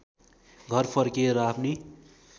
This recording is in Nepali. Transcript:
घर फर्किए र आफ्नी